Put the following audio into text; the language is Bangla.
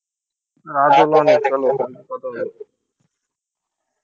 রাত হলও অনেক